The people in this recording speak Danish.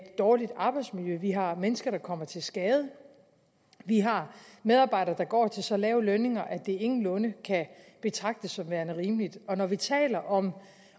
dårligt arbejdsmiljø vi har mennesker der kommer til skade vi har medarbejdere der går til så lave lønninger at det ingenlunde kan betragtes som værende rimeligt og når vi taler om